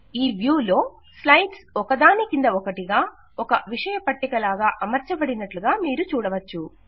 ఈ వ్యూలో స్లైడ్స్ ఒకదాని క్రింద ఒకటిగా ఒక విషయ పట్టిక లాగా అమర్చబడినట్లుగా మీరు చూడవచ్చు